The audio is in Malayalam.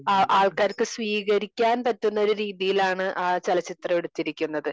അഹ് ആൾക്കാർക്ക് സ്വീകരിക്കാൻ പറ്റുന്ന ഒരു രീതിയിലാണ് ആ ചലച്ചിത്രം എടുത്തിരിക്കുന്നത്.